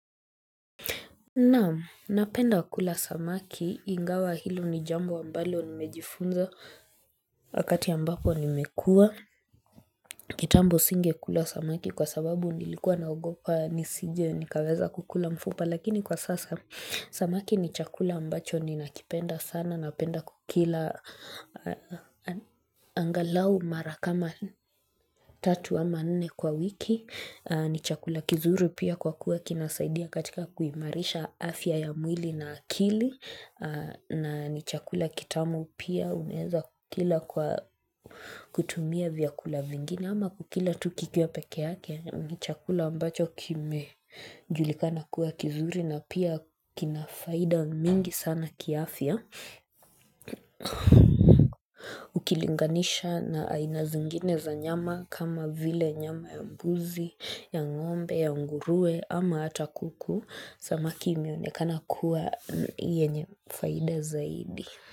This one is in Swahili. Naam napenda kula samaki ingawa hilo ni jambo ambalo nimejifunza wakati ambapo nimekua kitambo singekula samaki kwa sababu nilikuwa naogopa nisije nikaweza kukula mfupa lakini kwa sasa samaki ni chakula ambacho ninakipenda sana napenda kukila angalau mara kama tatu ama nne kwa wiki ni chakula kizuri pia kwa kuwa kinasaidia katika kuimarisha afya ya mwili na akili na ni chakula kitamu pia unaeza kukila kwa kutumia vyakula vingine ama kukila tu kikiwa peke yake ni chakula ambacho kimejulikana kuwa kizuri na pia kina faida mingi sana kiafya Ukilinganisha na aina zingine za nyama kama vile nyama ya mbuzi, ya ngombe, ya nguruwe ama hata kuku Samaki imeonekana kuwa yenye faida zaidi.